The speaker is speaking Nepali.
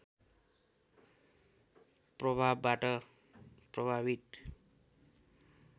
प्रभावबाट प्रभावित